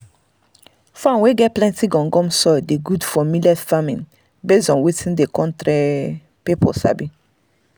farm wey get plenty gum gum soil dey good for millet farming based on wetin country um people sabi.